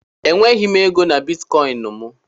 Enweghị m ego na Bitikoinu m